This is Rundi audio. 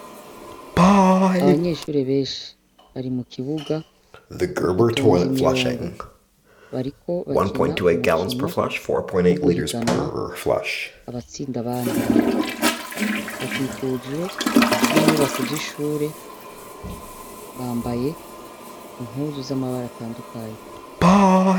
Abanyeshuri benshi bari mu kibuga batonza imirongo bariko bakina umukino wo guhiganwa abatsinda bandi bakikujwe n'inyubako z'ishure bambaye impuzu z'amabara handukanyu.